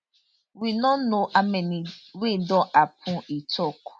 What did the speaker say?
we no know how many wey don happun e tok